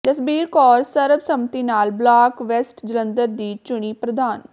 ਜਸਬੀਰ ਕੌਰ ਸਰਬਸੰਮਤੀ ਨਾਲ block west Jalandhar ਦੀ ਚੁਣੀ ਪ੍ਰਧਾਨ